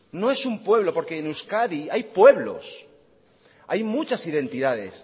no es un pueblo porque en euskadi hay pueblos hay muchas identidades